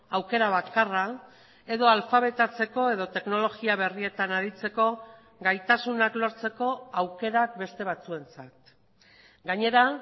aukera bakarra edo alfabetatzeko edo teknologia berrietan aritzeko gaitasunak lortzeko aukerak beste batzuentzat gainera